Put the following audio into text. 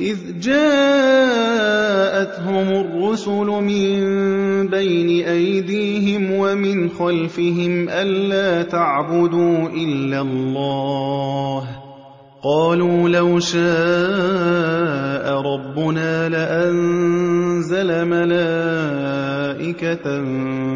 إِذْ جَاءَتْهُمُ الرُّسُلُ مِن بَيْنِ أَيْدِيهِمْ وَمِنْ خَلْفِهِمْ أَلَّا تَعْبُدُوا إِلَّا اللَّهَ ۖ قَالُوا لَوْ شَاءَ رَبُّنَا لَأَنزَلَ مَلَائِكَةً